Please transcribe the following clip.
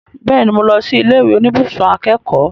Bẹ́ẹ̀ni, mo lọ sí ilé ìwé oníbùsùn akẹ́kọ̀ọ́